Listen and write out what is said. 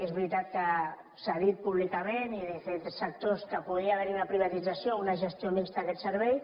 és veritat que s’ha dit públi·cament i des de diferents sectors que podria haver·hi una privatització o una gestió mixta d’aquest servei